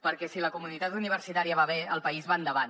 perquè si la comunitat universitària va bé el país va endavant